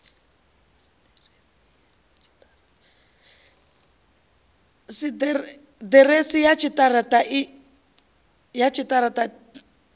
si ḓiresi ya tshiṱara ṱa